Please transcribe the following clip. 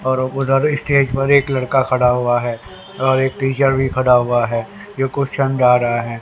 और उधर स्टेज पर एक लड़का खड़ा हुआ है और एक टीचर भी खड़ा हुआ है जो कुछ समझा रहा है।